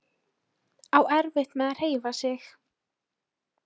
Á erfitt með að hreyfa sig.